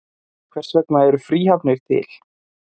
Hvers vegna eru fríhafnir til?